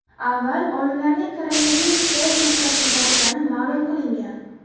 Avval olimlarning koronavirus zaif nuqtasini topgani ma’lum qilingan.